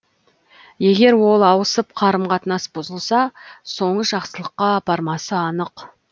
егер ол ауысып қарым қатынас бұзылса соңы жақсылыққа апармасы анық